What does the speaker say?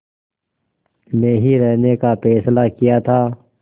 में ही रहने का फ़ैसला किया था